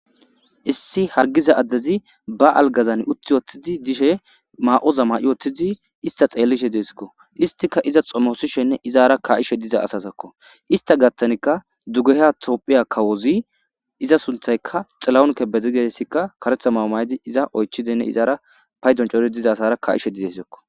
Issi hargiza addezi ba algazan uthi ottidi dishe maa7oza ma7i ottidi ista xeellishe deesikko istika iza xomosishenne izara ka7ishe diza asazakko ista gattanikka dugehya toophiya kawozi iza sunthayka xilaonke bezigeessikka karetha maamaydi iza oychidinne izara paydoncori diza asara ka7ishe dizesakko.